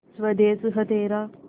स्वदेस है तेरा